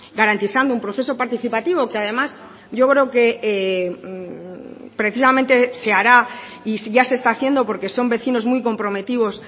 garantizando un proceso participativo que además yo creo que precisamente se hará y ya se está haciendo porque son vecinos muy comprometidos